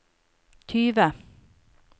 tyve